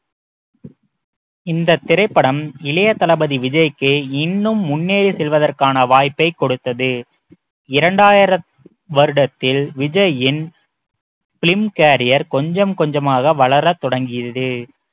இந்தத் திரைப்படம் இளைய தளபதி விஜய்க்கு இன்னும் முன்னேறி செல்வதற்கான வாய்ப்பைக் கொடுத்தது இரண்டாயிரம் வருடத்தில் விஜயின் film carrier கொஞ்சம் கொஞ்சமாக வளரத் தொடங்கியது